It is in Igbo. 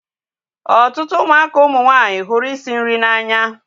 Ọtụtụ ụmụaka ụmụ nwanyị hụrụ isi nri n'anya